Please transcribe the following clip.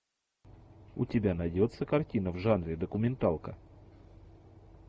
у тебя найдется картина в жанре документалка